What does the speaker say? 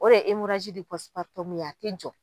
O de ye a tɛ jɔ.